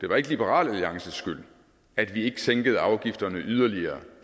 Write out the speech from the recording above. var liberal alliances skyld at vi ikke sænkede afgifterne yderligere